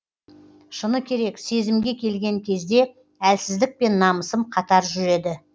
шыны керек сезімге келген кезде әлсіздік пен намысым қатар жүреді